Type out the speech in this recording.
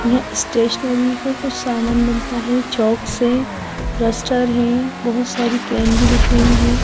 यहां स्टेशनरी का कुछ सामान मिलता है चौक से डस्टर है बहुत सारी कैन भी दिख रही हैं।